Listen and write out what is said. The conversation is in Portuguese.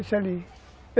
Esse ali.